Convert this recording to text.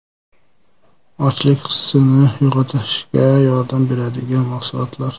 Ochlik hissini yo‘qotishga yordam beradigan mahsulotlar.